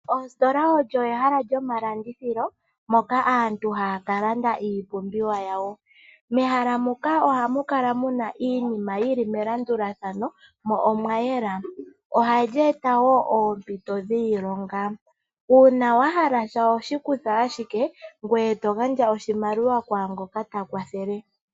Ositola olyo ehala lyomalandithilo moka aantu haya kalanda iipumbiwa yawo. Mehala muka oha mu kala mu na iinima yili melandulathano mo omwayela oha lyeeta wo oompito dhiilonga. Uuna wa hala sha oho shi kutha ashike ngoye to gandja oshimaliwa kwaangoka ta kwathele.